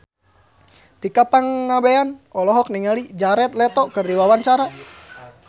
Tika Pangabean olohok ningali Jared Leto keur diwawancara